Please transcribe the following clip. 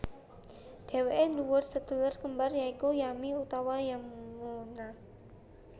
Dhèwèké nduwé sedulur kembar ya iku Yami utama Yamuna